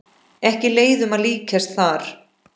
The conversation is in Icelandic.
Ekki leiðum að líkjast þar.